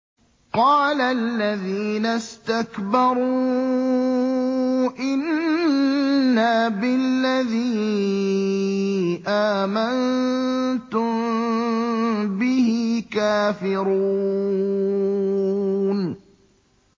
قَالَ الَّذِينَ اسْتَكْبَرُوا إِنَّا بِالَّذِي آمَنتُم بِهِ كَافِرُونَ